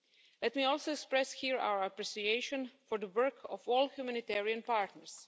it. Let me also express here our appreciation for the work of all humanitarian partners.